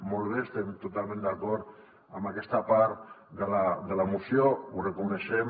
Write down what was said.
molt bé estem totalment d’acord amb aquesta part de la moció ho reconeixem